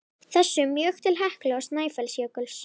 þessum mjög til Heklu og Snæfellsjökuls.